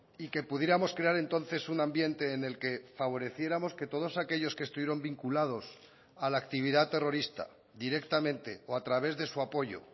y que pudiéramos crear entonces un ambiente en el que favoreciéramos que todos aquellos que estuvieron vinculados a la actividad terrorista directamente o a través de su apoyo